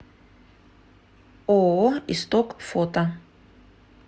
ооо исток фото